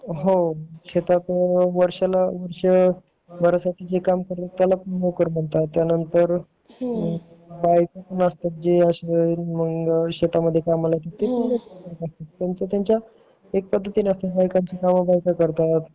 असतात जे शेतामध्ये काम करतात त्याचा त्यांचा पद्धतीने असते